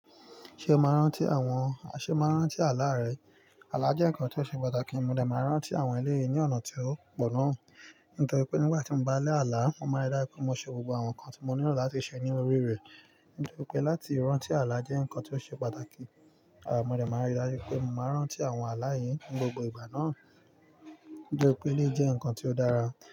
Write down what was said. Ṣé o màá rántí àwọn, ṣe o màá n rántí àlà rẹ? Àlà jẹ́ ǹkan tó ṣe pàtàkì, mo dẹ̀ máa n rántí àwọn eléyii ní ọ̀nà tí ó pọ̀ gán. Nítorí pé nígbà tí mo bá la àlà, mo máa rí dájú pé mo ṣe gbogbo àwọn nǹkan tí mo nílò láti ṣe ní orí rẹ̀. Nítorí pé láti rántí àlà jẹ́ ǹkan tó ṣe pàtàkì, àh mo dẹ̀ máa n rí dájú pé mo máa n rántí àwọn àlà yìí ní gbogbo ìgbà náà. Nítorí peléyii jẹ́ ǹkan tí ó dára.